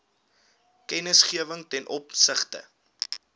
kennisgewing ten opsigte